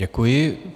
Děkuji.